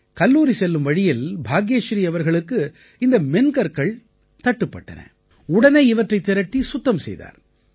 கல்லூரி செல்லும் வழியில் பாக்யஸ்ரீ அவர்களுக்கு இந்த மென்கற்கள் தட்டுப்பட்டன உடனே இவற்றை திரட்டி சுத்தம் செய்தார்